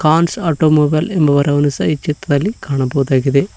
Khan's automobile ಎಂಬ ವರಹವನ್ನು ಈ ಚಿತ್ರದಲ್ಲಿ ಕಾಣಬಹುದಾಗಿದೆ.